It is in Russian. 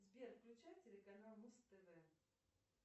сбер включай телеканал муз тв